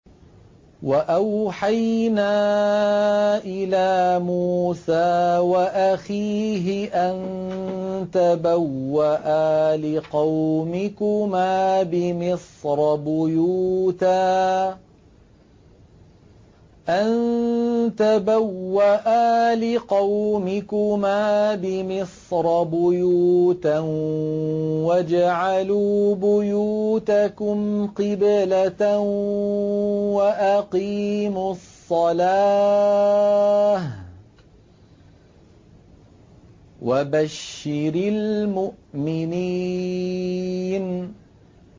وَأَوْحَيْنَا إِلَىٰ مُوسَىٰ وَأَخِيهِ أَن تَبَوَّآ لِقَوْمِكُمَا بِمِصْرَ بُيُوتًا وَاجْعَلُوا بُيُوتَكُمْ قِبْلَةً وَأَقِيمُوا الصَّلَاةَ ۗ وَبَشِّرِ الْمُؤْمِنِينَ